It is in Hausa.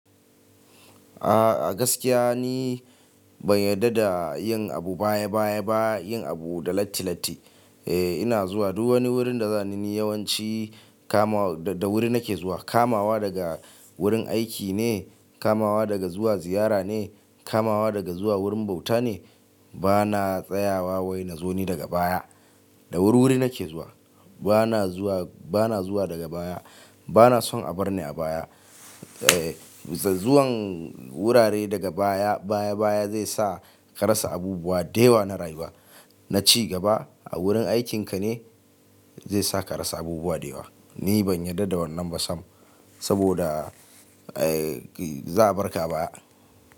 A gaskiya ni ban yarda da yin abu baya baya ba, yin abu da latti latti. Eh ina zuwa duk wani wurin da zan yi ni yawanci kamawa da wuri nake zuwa. Kamawa daga wurin aiki ne, kamawa daga zuwa ziyara ne, kamawa daga zuwa wurin bauta ne. Bana tsayawa wai na zo ni daga baya. Da wuri wuri nake zuwa. Bana zuwa, bana zuwa daga baya. Bana son a bar ni a baya. Eh zuwan wurare daga baya baya baya zai sa ka rasa abubuwa da yawa na rayuwa. Na ci gaba a wurin aikinka ne zai sa ka rasa abubuwa da yawa. Ni ban yarda da wannan ba sam, saboda eh za a bar ka baya.